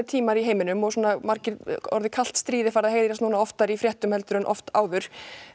tímar í heiminum og margir ja orðið kalt stríð er farið að heyrast núna oftar í fréttum heldur en oft áður